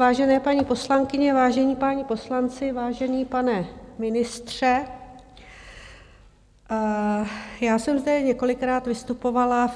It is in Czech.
Vážené paní poslankyně, vážení páni poslanci, vážený pane ministře, já jsem zde několikrát vystupovala